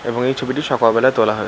এবং এই ছবিটি সকালবেলা তোলা হয়েছে।